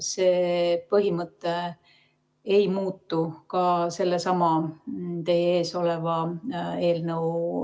See põhimõte ei muutu ka selle teie ees oleva eelnõuga.